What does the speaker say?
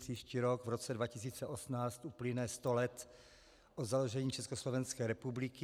Příští rok, v roce 2018, uplyne sto let od založení Československé republiky.